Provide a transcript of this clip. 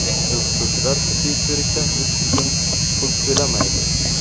O‘qituvchilar tibbiy ko‘rikdan o‘tish uchun pul to‘lamaydi.